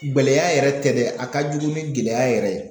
Gɛlɛya yɛrɛ tɛ dɛ a ka jugu ni gɛlɛya yɛrɛ ye.